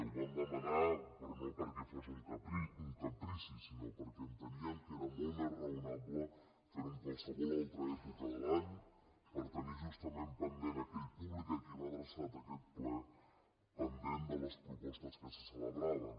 ho vam demanar però no perquè fos un caprici sinó perquè enteníem que era molt més raonable fer ho en qualsevol altra època de l’any per tenir justament pendent aquell públic a qui va adreçat aquest ple pendent de les propostes que se celebraven